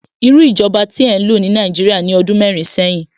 Irú ìjọba tí ẹ ń lò ní Nàìjíríà ní ọdún mẹ́rin sẹ́yìn?